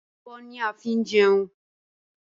Abọ́ ni a fi ń jẹun